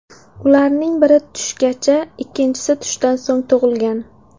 Ularning biri tushgacha, ikkinchisi tushdan so‘ng tug‘ilgan.